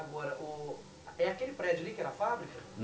Agora, ô é aquele prédio ali que era a fábrica?